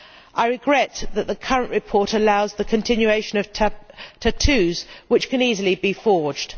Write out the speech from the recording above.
I regret that the current report allows the continuation of tattoos, which can easily be forged.